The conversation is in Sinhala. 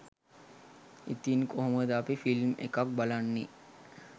ඉතිං කොහොමද අපි ෆිල්ම් එකක් බලන්නේ